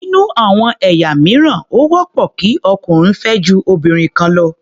Nínú àwọn ẹ̀yà mìíràn, ó wọ́pọ̀ kí ọkùnrin fẹ́ ju obìnrin kan lọ.